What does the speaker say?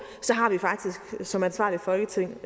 så har vi faktisk som ansvarligt folketing